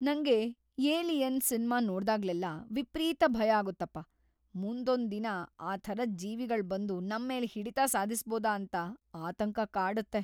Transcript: ನಂಗೆ "alien" cinema ನೋಡ್ದಾಗ್ಲೆಲ್ಲಾ ವಿಪ್ರೀತ ಭಯ ಆಗುತ್ತಪ್ಪ, ಮುಂದೊಂದ್‌ ದಿನ ಆ ಥರದ್‌ ಜೀವಿಗಳ್‌ ಬಂದು ನಮ್‌ ಮೇಲೆ ಹಿಡಿತ ಸಾಧಿಸ್ಬೋದಾ ಅಂತ ಆತಂಕ ಕಾಡತ್ತೆ.